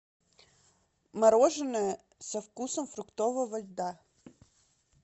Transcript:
мороженое со вкусом фруктового льда